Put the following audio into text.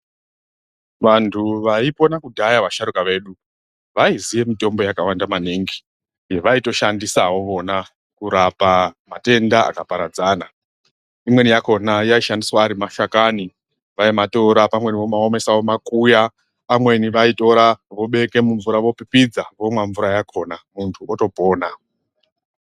Vantu vayipona kudhaya vasharuka vedu ,vayiziye mitombo yakawanda maningi yavaitoshandisawo vona kurapa matenda akaparadzana, imweni yakona yaishandiswa ari mashakani, vayi matora pamweni vomaomesa, vomakuya, amweni vayitora vobeka mumvura, vopipidza ,vomwa mvura yakona muntu otopona.